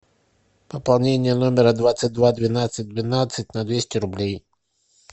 пополнение номера двадцать два двенадцать двенадцать на двести рублей